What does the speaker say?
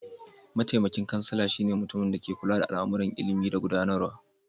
Mataimakin kansila shi ne mutuminda ke kulla da al'amuran ilimi da gudanarwa.